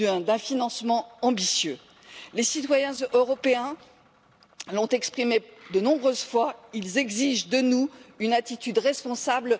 d'un financement ambitieux. Les citoyens européens l'ont exprimé de nombreuses fois ils exigent de nous une attitude responsable.